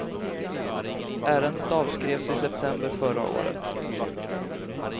Ärendet avskrevs i september förra året.